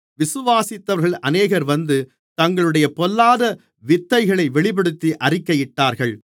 விசுவாசித்தவர்களில் அநேகர் வந்து தங்களுடைய பொல்லாத வித்தைகளை வெளிப்படுத்தி அறிக்கையிட்டார்கள்